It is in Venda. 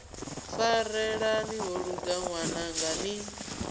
farelani ho luga ṅwananga ni